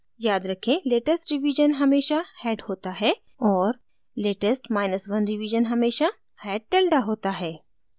याद रखें latest revision हमेशा head होता है और latest माइनस 1 रिवीजन हमेशा head tilde होता है